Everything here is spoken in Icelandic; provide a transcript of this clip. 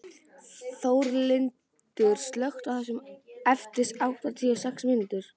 Þórlindur, slökktu á þessu eftir áttatíu og sex mínútur.